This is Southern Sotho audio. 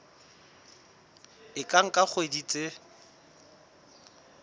e ka nka dikgwedi tse